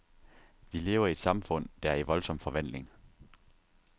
Vi lever i et samfund, der er i voldsom forvandling.